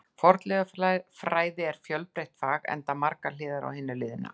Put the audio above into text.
Fornleifafræði er fjölbreytt fag, enda eru margar hliðar á hinu liðna.